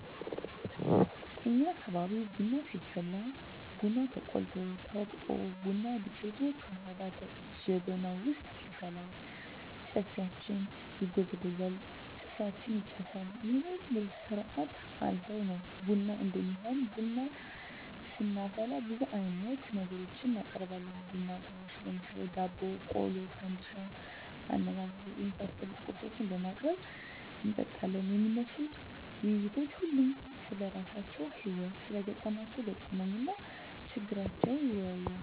እኛ አካባቢ ቡና ሲፈላ ቡናው ተቆልቶ፣ ተወቅጦ፣ ቡና ዱቄቱ ከዉሀ ጋ ጀበናዉ ዉስጥ ይፈላል፣ ጨፌያችን ይጎዘጎዛል፣ ጭሳችን ይጨሳል ይሄን ሁሉ ስርአት አልፋ ነዉ ቡና እሚሆነዉ። ቡና ስናፈላ ብዙ አይነት ነገሮችን እናቀርባለን(ቡና ቁርስ ) ለምሳሌ፦ ዳቦ፣ ቆሎ፣ ፈንድሻ፣ አነባበሮ የመሳሰሉ ቁርሶችን በማቅረብ እንጠጣለን። የሚነሱት ዉይይቶች ሁሉም ስለራሳቸዉ ህይወት(ስለገጠማቸዉ ገጠመኝ) እና ችግራቸዉን ይወያያል፣